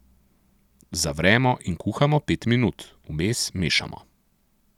Zavremo in kuhamo pet minut, vmes mešamo.